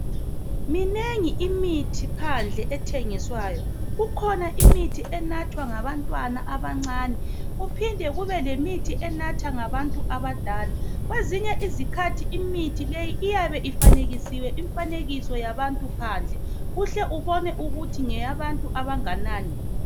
Minengi imithi phandle ethengiswayo ikhona imithi enathwa ngabantwana abancane kuphinde kubelemithi enathwa ngantu abadala kwezinye izikhathi imuthi leyi iyabe ifanekesiliwe imfanekiso yabantu phandle uhle ubone ukuthi ngeyabantu abanganani